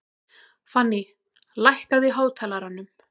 Fanný, lækkaðu í hátalaranum.